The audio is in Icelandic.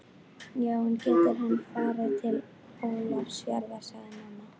Já en, ekki getur hann farið til Ólafsfjarðar, sagði mamma.